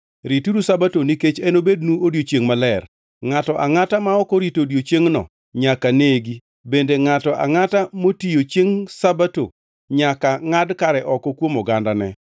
“ ‘Rituru Sabato nikech enobednu odiechiengʼ maler. Ngʼato angʼata ma ok orito odiechiengno nyaka negi bende ngʼato angʼata motiyo chiengʼ Sabato nyaka ngʼad kare oko kuom ogandane.